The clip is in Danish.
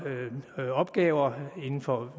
opgaver inden for